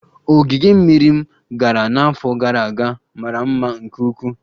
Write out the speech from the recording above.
Ogige mmiri m gara n'afọ gara aga mara mma nke ukwuu